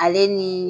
Ale ni